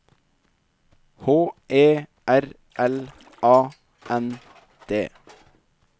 H E R L A N D